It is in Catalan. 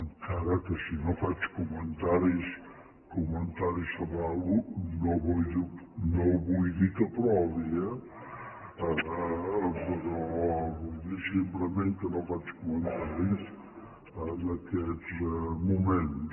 encara que si no faig comentaris sobre alguna cosa no vull dir que l’aprovi eh però vull dir simplement que no faig comentaris en aquests moments